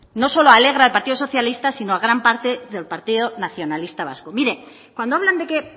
no solo alegra al partido socialista sino a gran parte del partido nacionalista vasco mire cuando hablan de que